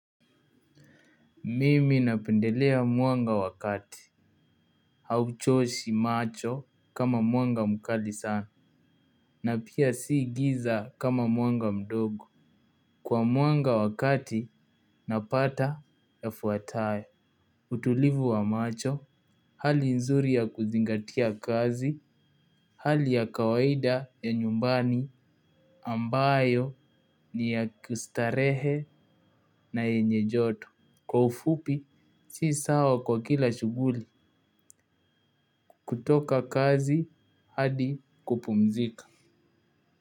Mimi napendelea mwanga wakati. Hauchoshi macho kama mwanga mkali sana. Na pia si giza kama mwanga mdogo. Kwa mwanga wakati napata yafuataye. Utulivu wa macho, hali nzuri ya kuzingatia kazi, hali ya kawaida ya nyumbani, ambayo ni ya kustarehe na yenye joto. Kwa ufupi, si sawa kwa kila shughuli. Kutoka kazi hadi kupumzika.